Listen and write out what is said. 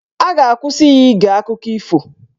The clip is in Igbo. A ga-akwụsị ya ige akụkọ ifo